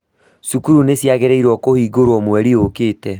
Cukuru nĩciĩrĩgĩrĩirwo kũhingũrwo mweri ũkĩte